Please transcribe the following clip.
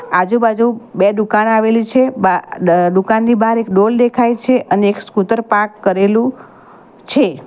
આજુબાજુ બે દુકાન આવેલી છે બા દ દુકાનની બહાર એક ડોલ દેખાય છે અને એક સ્કૂટર પાર્ક કરેલું છે.